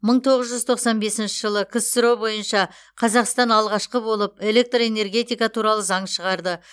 мың тоғыз жүз тоқсан бесінші жылы ксро бойынша қазақстан алғашқы болып электроэнергетика туралы заң шығарды